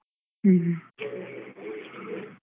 ಹ್ಮ್ ಹ್ಮ್.